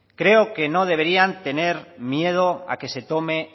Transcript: creo que no deberían de tener miedo a que se tome